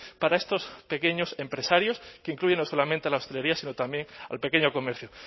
para estos pequeños empresarios que incluyen no solamente a la hostelería sino también al pequeño comercio